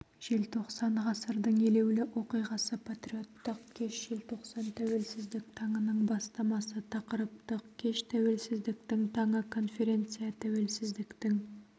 желтоқсан ғасырдың елеулі оқиғасы патриоттық кеш желтоқсан тәуелсіздік таңының бастамасы тақырыптық кеш тәуелсіздіктің таңы конференция тәуелсіздіктің